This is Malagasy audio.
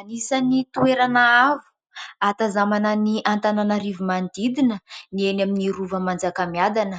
Anisany toerana avo ahatazanana ny Antananarivo manodidina ny eny amin'ny Rova Manjakamiadana.